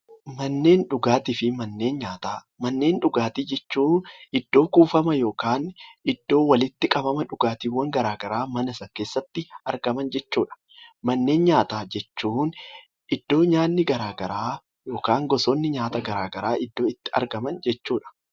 Manneen dhugaatii jechuun iddoo kuufama yookaan walitti qabama dhugaatiiwwan garaagaraa mana sana keessatti argaman jechuudha. Manneen nyaataa jechuun iddoo nyaatni garaagaraa yookiin gosoonni nyaata garaagaraa itti argaman jechuudha.